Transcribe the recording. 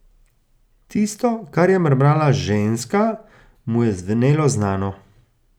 Tisto, kar je mrmrala ženska, mu je zvenelo znano.